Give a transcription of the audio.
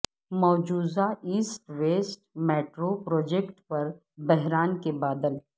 مجوزہ east west metro project پر بحران کے بادل